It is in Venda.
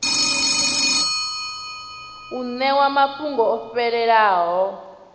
u ṋewa mafhungo o fhelelaho